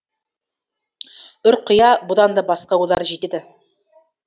ұрқия бұдан да басқа ойлар жетеді